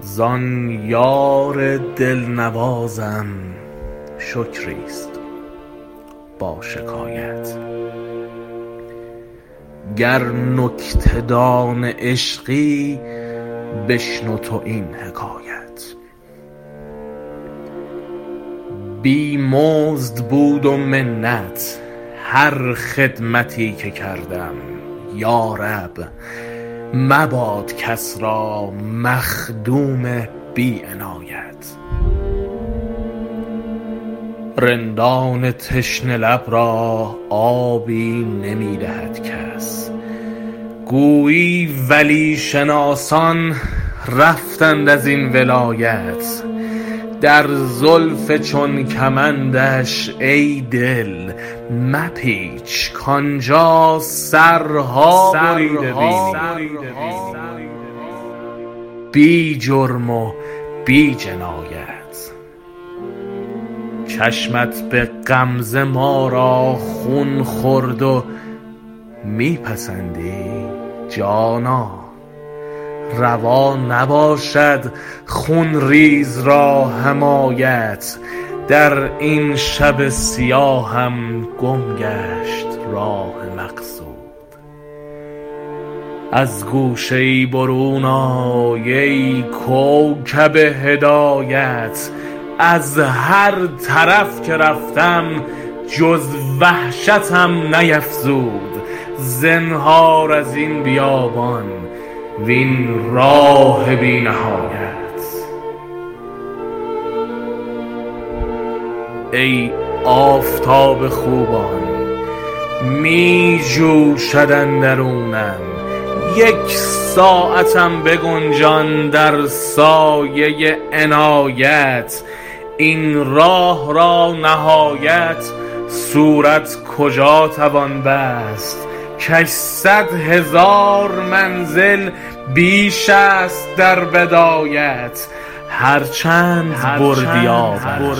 زان یار دل نوازم شکری است با شکایت گر نکته دان عشقی بشنو تو این حکایت بی مزد بود و منت هر خدمتی که کردم یا رب مباد کس را مخدوم بی عنایت رندان تشنه لب را آبی نمی دهد کس گویی ولی شناسان رفتند از این ولایت در زلف چون کمندش ای دل مپیچ کآن جا سرها بریده بینی بی جرم و بی جنایت چشمت به غمزه ما را خون خورد و می پسندی جانا روا نباشد خون ریز را حمایت در این شب سیاهم گم گشت راه مقصود از گوشه ای برون آی ای کوکب هدایت از هر طرف که رفتم جز وحشتم نیفزود زنهار از این بیابان وین راه بی نهایت ای آفتاب خوبان می جوشد اندرونم یک ساعتم بگنجان در سایه عنایت این راه را نهایت صورت کجا توان بست کش صد هزار منزل بیش است در بدایت هر چند بردی آبم